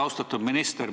Austatud minister!